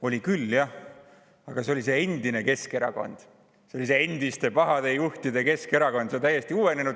Oli küll, jah, aga see oli see endine Keskerakond, see oli see endiste pahade juhtide Keskerakond.